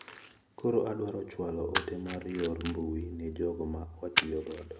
Koro adwaro chwalo ote mar yor mbui ne jogo ma watiyo godo.